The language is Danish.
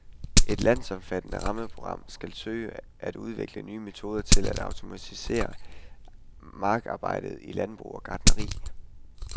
Et landsomfattende rammeprogram skal søge at udvikle nye metoder til at automatisere markarbejdet i landbrug og gartneri.